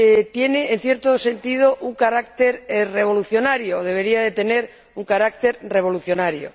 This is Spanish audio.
tiene, en cierto sentido, un carácter revolucionario, o debería tener un carácter revolucionario.